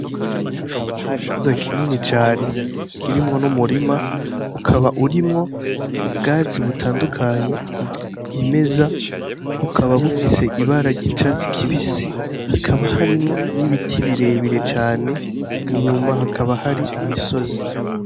Ikibanza kinini cane kirimwo n'umurima ukaba urimwo ubwatsi butandukanye bwimeza bukaba bufise ibara ryicatsi kibisi hakaba harimwo n'ibiti birebire cane inyuma hakaba hari imisozi.